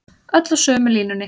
Öll á sömu línunni